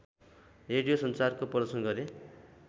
radio संचारको प्रदर्शन गरे